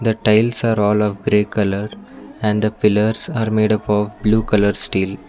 the tiles are all of grey color and the pillars are made up of blue colour steel.